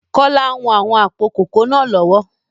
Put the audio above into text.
Kola ń wọn àwọn àpò kòkó náà lọ́wọ́